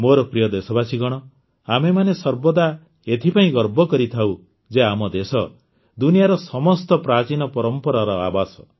ମୋର ପ୍ରିୟ ଦେଶବାସୀଗଣ ଆମେମାନେ ସର୍ବଦା ଏଥିପାଇଁ ଗର୍ବ କରିଥାଉ ଯେ ଆମ ଦେଶ ଦୁନିଆର ସମସ୍ତ ପ୍ରାଚୀନ ପରମ୍ପରାର ଆବାସ